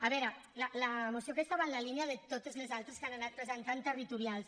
a veure la moció aquesta va en la línia de totes les altres que han anat presentant territorials